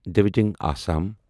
ڈویٖجنگ Assam